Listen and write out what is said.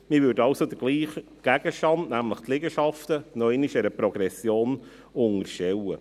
Man würde also denselben Gegenstand, nämlich die Liegenschaften, noch einmal einer Progression unterstellen.